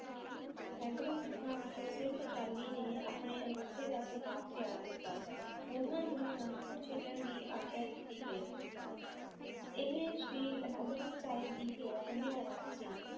ਸੈਂਕੜੇ ਸਿੱਖਾਂ ਵਿੱਚੋਂ ਸਿਰਫ਼ ਚਾਲੀ ਨੇ ਆਪਣੇ ਅੰਗੂਠੇ ਦਾ ਪ੍ਰਭਾਵ ਤਿਆਗ ਦਿੱਤਾ ਉਹਨਾਂ ਨੂੰ ਅਨੰਦਪੁਰ ਛੱਡਣ ਦੀ ਆਗਿਆ ਦਿੱਤੀ ਗਈ ਇਹ ਸ੍ਰੀ ਅਨੰਦਪੁਰ ਸਾਹਿਬ ਦੀ ਘੇਰਾਬੰਦੀ ਦੌਰਾਨ ਸੀ,